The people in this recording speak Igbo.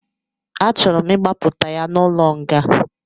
A chọrọ m ịgbapụta ya n'ụlọ nga